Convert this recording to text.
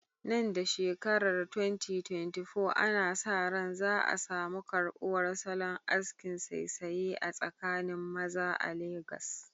Nan da shekarar 2024, ana sa ran za a samu karbuwar salon askin saisaye a tsakanin maza a Legas.